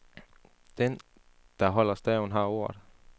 Den, der holder staven, har ordet.